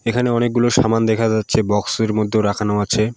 এখানে অনেকগুলো সামান দেখা যাচ্ছে বক্স এর মধ্যেও রাখানো আছে।